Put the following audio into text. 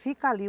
Fica ali.